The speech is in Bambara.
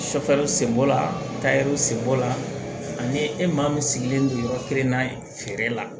sen bɔ la sen bɔ la ani e maa min sigilen don yɔrɔ kelen na feere la